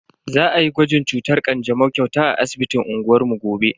Za ayi gwajin cutar kanjamau kyauta a asibitin unguwar mu gobe.